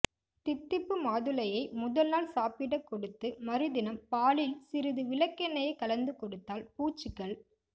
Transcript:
தித்திப்பு மாதுளையை முதல் நாள் சாப்பிடக் கொடுத்து மறுதினம் பாலில் சிறிது விளககெண்ணையைக் கலந்து கொடுத்தால் பூச்சிகள்